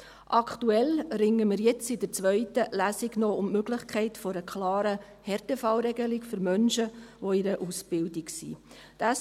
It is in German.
Aktuell ringen wir jetzt, bei der zweiten Lesung, um die Möglichkeit einer klaren Härtefallregelung für Menschen, die sich in Ausbildung befinden.